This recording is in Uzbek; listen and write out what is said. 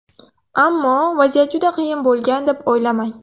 Ammo vaziyat juda qiyin bo‘lgan deb o‘ylamang.